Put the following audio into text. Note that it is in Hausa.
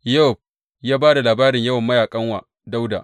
Yowab ya ba labarin yawan mayaƙan wa Dawuda.